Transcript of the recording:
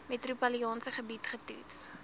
metropolitaanse gebied getoets